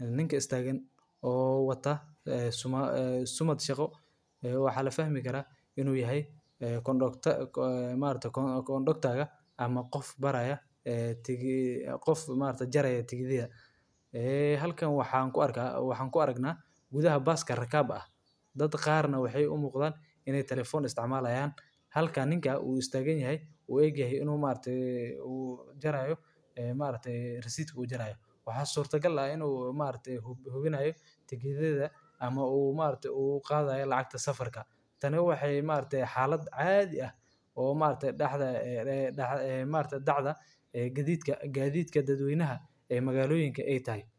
ninka istagan oo watah somad shaqo wax la fahmikarah inu yahay gondakta marktah gandonktaka ama qof barayo qof jaroyo tigadyaha ahalkan waxaan ku arga waxaan ku argna gudaha baaska ragabah dad qar nah waxay u muqdan inay talafon isticmalahayan halka ninka u istaganyahay oo ag yahay inu marktah ujarayo a markti rasidka ujarayo wax surata gal ah inu marktah hubinayo tikad yada ama umargtah uqadayo lacag safarka taani waxay marktah xalada cadi ah oo markta daxda gadidka dad waynaha a magaloyinka tahay.